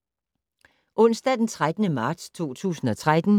Onsdag d. 13. marts 2013